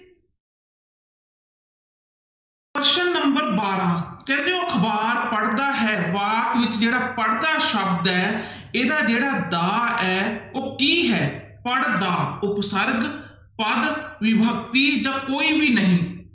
ਪ੍ਰਸ਼ਨ number ਬਾਰਾਂ ਕਹਿੰਦੇ ਉਹ ਅਖ਼ਬਾਰ ਪੜ੍ਹਦਾ ਹੈ, ਵਾਕ ਵਿੱਚ ਜਿਹੜਾ ਪੜ੍ਹਦਾ ਸ਼ਬਦ ਹੈ ਇਹਦਾ ਜਿਹੜਾ ਦਾ ਹੈ ਉਹ ਕੀ ਹੈ ਪੜ੍ਹਦਾ, ਉਪਸਰਗ, ਪਦ, ਵਿਭਕਤੀ ਜਾਂ ਕੋਈ ਵੀ ਨਹੀਂ।